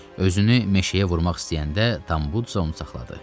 Özünü meşəyə vurmaq istəyəndə Tambu isə onu saxladı.